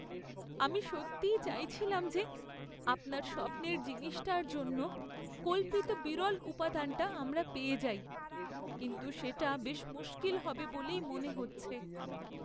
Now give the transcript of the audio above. আমি সত্যিই চাইছিলাম যে, আপনার স্বপ্নের জিনিসটার জন্য কল্পিত বিরল উপাদানটা আমরা পেয়ে যাই, কিন্তু সেটা বেশ মুশকিল হবে বলেই মনে হচ্ছে।